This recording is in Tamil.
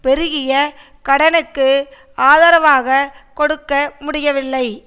பெருகிய கடனுக்கு ஆதரவாகக் கொடுக்க முடியவில்லை